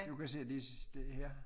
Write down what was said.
Du kan se de sidste her